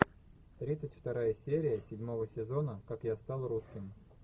тридцать вторая серия седьмого сезона как я стал русским